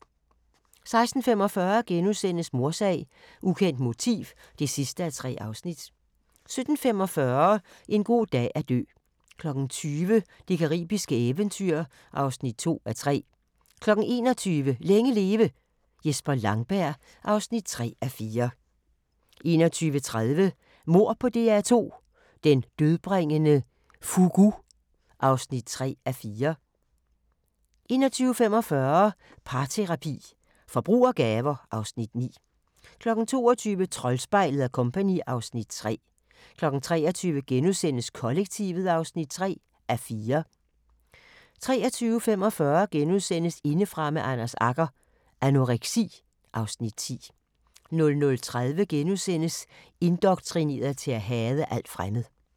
16:45: Mordsag: Ukendt motiv (3:3)* 17:45: En god dag at dø 20:00: Det caribiske eventyr (2:3) 21:00: Længe leve – Jesper Langberg (3:4) 21:30: Mord på DR2 – Den dødbringende fugu (3:4) 21:45: Parterapi – Forbrug og gaver (Afs. 9) 22:00: Troldspejlet & Co. (Afs. 3) 23:00: Kollektivet (3:4)* 23:45: Indefra med Anders Agger – Anoreksi (Afs. 10)* 00:30: Indoktrineret til at hade alt fremmed *